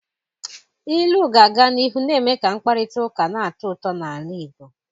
Ilu ga-aga n'ihu na-eme ka mkparịta ụka na-atọ ụtọ n'ala Igbo.